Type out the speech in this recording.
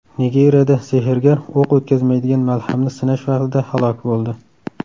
Nigeriyada sehrgar o‘q o‘tkazmaydigan malhamni sinash vaqtida halok bo‘ldi.